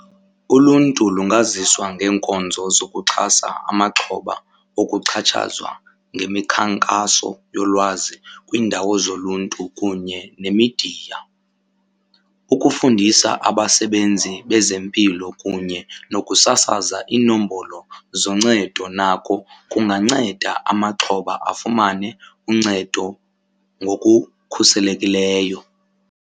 Uluntu lungaziswa ngeenkonzo zokuxhasa amaxhoba okuxhatshazwa ngemikhankaso yolwazi kwiindawo zoluntu kunye nemidiya. Ukufundisa abasebenzi bezempilo kunye nokusasaza iinombolo zoncedo nako kunganceda amaxhoba afumane uncedo ngokukhuselekileyo.